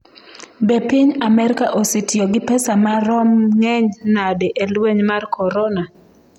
Be piny Amerka osetiyo gi pesa marom ng’eny nade e lweny mar korona?